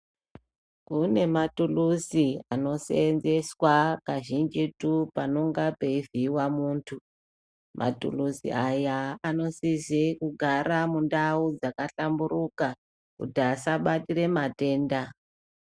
Kune matuluzi anosenzeswa kazhinji paanenge peuvhiyiwa muntu. Matuluzi aya anosise kugara mundau dzakahlamburuka kuti asabatire matenda.